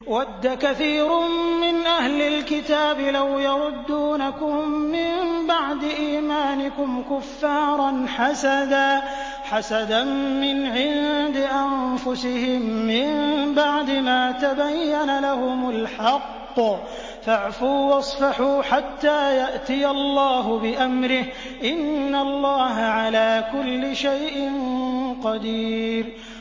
وَدَّ كَثِيرٌ مِّنْ أَهْلِ الْكِتَابِ لَوْ يَرُدُّونَكُم مِّن بَعْدِ إِيمَانِكُمْ كُفَّارًا حَسَدًا مِّنْ عِندِ أَنفُسِهِم مِّن بَعْدِ مَا تَبَيَّنَ لَهُمُ الْحَقُّ ۖ فَاعْفُوا وَاصْفَحُوا حَتَّىٰ يَأْتِيَ اللَّهُ بِأَمْرِهِ ۗ إِنَّ اللَّهَ عَلَىٰ كُلِّ شَيْءٍ قَدِيرٌ